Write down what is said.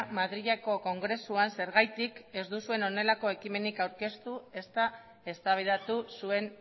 madrileko kongresuan zergatik ez duzuen honelako ekimenik aurkeztu ezta eztabaidatu zuen